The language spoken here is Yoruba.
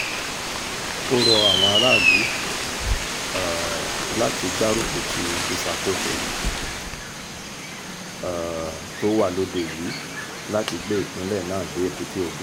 ó rọ àwọn aráàlú um láti gbárùkù ti ìṣàkóso um tó wà lóde yìí láti gbé ìpínlẹ̀ náà dé èbúté ògo